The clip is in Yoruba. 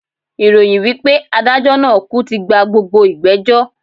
Ìròyìn wipe adájó naa kú tí gba gbogbo ìgbẹ̀jọ́